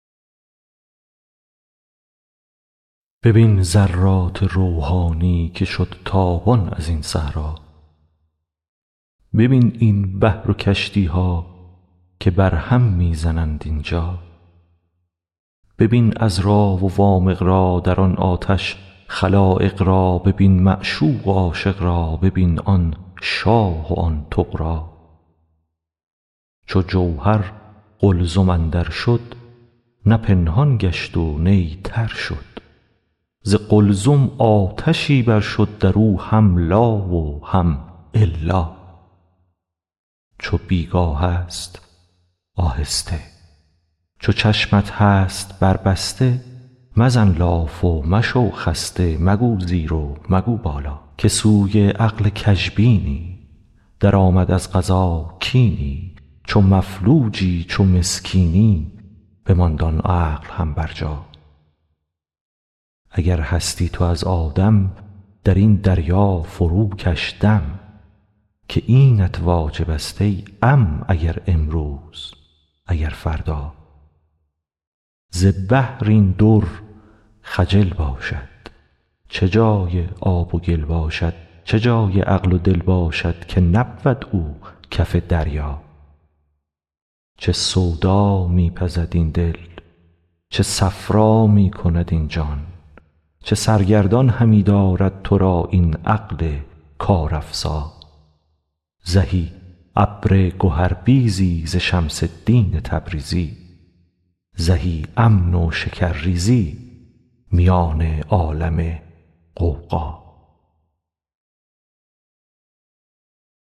ببین ذرات روحانی که شد تابان از این صحرا ببین این بحر و کشتی ها که بر هم می زنند اینجا ببین عذرا و وامق را در آن آتش خلایق را ببین معشوق و عاشق را ببین آن شاه و آن طغرا چو جوهر قلزم اندر شد نه پنهان گشت و نی تر شد ز قلزم آتشی بر شد در او هم لا و هم الا چو بی گاه ست آهسته چو چشمت هست بربسته مزن لاف و مشو خسته مگو زیر و مگو بالا که سوی عقل کژبینی درآمد از قضا کینی چو مفلوجی چو مسکینی بماند آن عقل هم برجا اگر هستی تو از آدم در این دریا فروکش دم که اینت واجب ست ای عم اگر امروز اگر فردا ز بحر این در خجل باشد چه جای آب و گل باشد چه جان و عقل و دل باشد که نبود او کف دریا چه سودا می پزد این دل چه صفرا می کند این جان چه سرگردان همی دارد تو را این عقل کارافزا زهی ابر گهربیزی ز شمس الدین تبریزی زهی امن و شکرریزی میان عالم غوغا